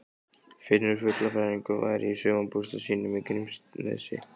Finnur fuglafræðingur væri í sumarbústað sínum í Grímsnesi.